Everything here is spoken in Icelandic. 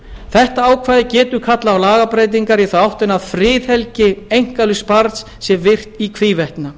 þetta ákvæði getur kallað á lagabreytingar í þá áttina að friðhelgi einkalífs barns sé virt í hvívetna